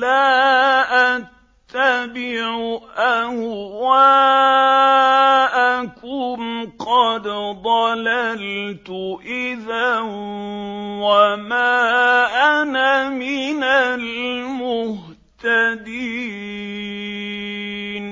لَّا أَتَّبِعُ أَهْوَاءَكُمْ ۙ قَدْ ضَلَلْتُ إِذًا وَمَا أَنَا مِنَ الْمُهْتَدِينَ